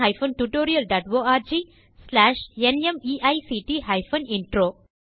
இந்த tutorialக்கு தமிழாக்கம் கீதா சம்பசிவம் குரல் கொடுத்தது ஐட் பாம்பே லிருந்து பிரியா